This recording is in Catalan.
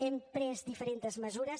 hem pres diferents mesures